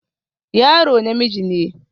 Yaro namiji ne